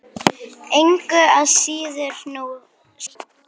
Engu að síður sú sama.